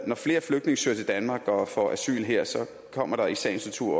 når flere flygtninge søger til danmark og får asyl her kommer der i sagens natur